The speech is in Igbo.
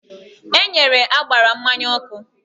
E nyere ágbárá mmanya ọkụ